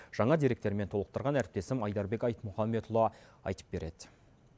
жаңа деректермен толықтырған әріптесім айдарбек айтмұхамбетұлы айтып береді